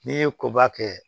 N'i ye koba kɛ